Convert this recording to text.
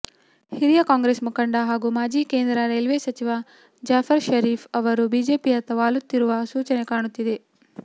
ಹಿರಿಯ ಕಾಂಗ್ರೆಸ್ ಮುಖಂಡ ಹಾಗೂ ಮಾಜಿ ಕೇಂದ್ರ ರೈಲ್ವೆ ಸಚಿವ ಜಾಫರ್ ಷರೀಫ್ ಅವರು ಬಿಜೆಪಿಯತ್ತ ವಾಲುತ್ತಿರುವ ಸೂಚನೆ ಕಾಣುತ್ತಿದೆ